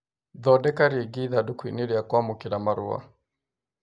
Thondeka rĩngĩ ithandūkū inī rīa kwamūkīra marua